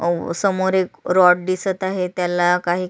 समोर एक रॉड दिसत आहे त्याला काही--